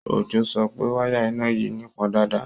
Ojó sọ pé wáyà iná yìí nípọn dáadáa